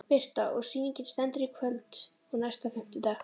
Birta: Og sýningin stendur í kvöld og næsta fimmtudag?